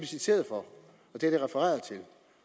citeret for